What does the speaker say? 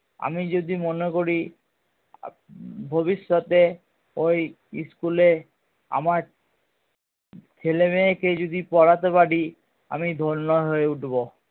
আমি যদি মনে করি ভবিষ্যতে ওই school এ আমার ছেলে মেয়েকে যদি পড়াতে পারি আমি ধন্য হয়ে উঠবো